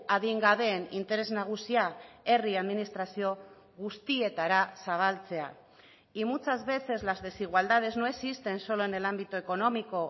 adingabeen interes nagusia herri administrazio guztietara zabaltzea y muchas veces las desigualdades no existen solo en el ámbito económico